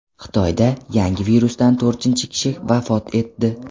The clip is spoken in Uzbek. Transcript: Xitoyda yangi virusdan to‘rtinchi kishi vafot etdi.